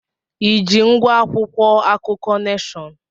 I ji ngwá akwụkwọ akụkọ Neshọn?